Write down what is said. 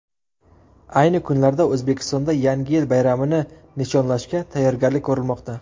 Ayni kunlarda O‘zbekistonda Yangi yil bayramini nishonlashga tayyorgarlik ko‘rilmoqda.